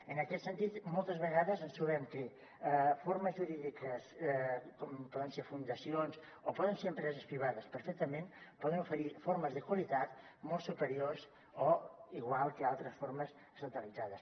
en aquest sentit moltes vegades ens trobem que formes jurídiques com poden ser fundacions o poden ser empreses privades perfectament poden oferir formes de qualitat molt superiors o iguals que altres formes estatalitzades